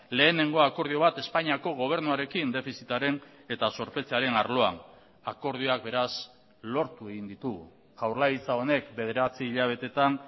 lehenengoa akordio bat espainiako gobernuarekin defizitaren eta zorpetzearen arloan akordioak beraz lortu egin ditugu jaurlaritza honek bederatzi hilabeteetan